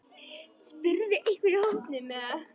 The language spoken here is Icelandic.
spurði einhver í hópnum.